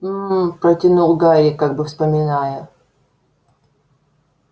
мм протянул гарри как бы вспоминая